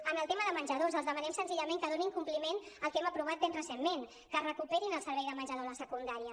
en el tema de menjadors els demanem senzillament que donin compliment al que hem aprovat ben recentment que recuperin el servei de menjador a la secundària